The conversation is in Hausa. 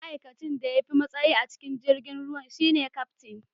ma'aikacin da ya fi matsayi a cikin jirgin ruwan shi ne Kaftin